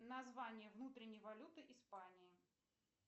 название внутренней валюты испании